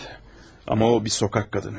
Evət, ama o bir sokak qadını.